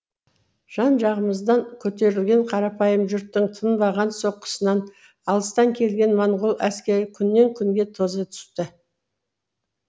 жан жағымыздан көтерілген қарапайым жұрттың тынбаған соққысынан алыстан келген монғол әскері күннен күнге тоза түсті